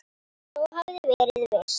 Sá hafði verið viss!